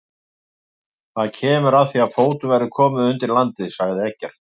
Það kemur að því að fótum verður komið undir landið, sagði Eggert.